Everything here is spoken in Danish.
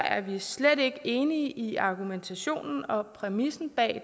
er vi slet ikke enige i argumentationen og præmissen